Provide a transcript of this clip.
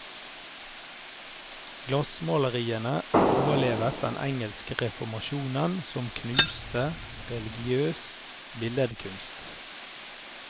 Glassmaleriene overlevet den engelske reformasjonen som knuste religiøs billedkunst.